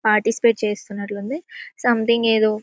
participate చేస్తున్నట్లుంది something ఎదో--